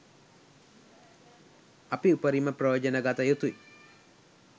අපි උපරිම ප්‍රයෝජන ගත යුතුයි.